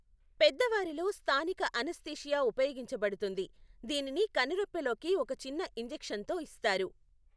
పెద్దవారిలో స్థానిక అనస్థీషియా ఉపయోగించబడుతుంది, దీనిని కనురెప్పలోకి ఒక చిన్న ఇంజెక్షన్తో ఇస్తారు.